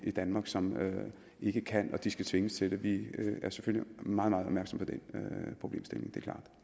i danmark som ikke kan det skal tvinges til det vi er selvfølgelig meget meget opmærksom på den problemstilling